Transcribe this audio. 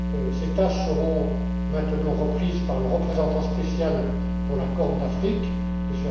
Ses tâches seront maintenant reprises par le représentant spécial pour la Corne de l'Afrique,